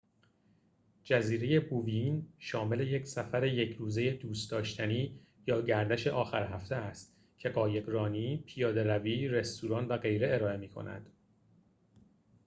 جزیره بووین شامل یک سفر یک روزه دوست‌داشتنی یا گردش آخر هفته است که قایق‌رانی پیاده‌روی رستوران و غیره ارائه می‌کند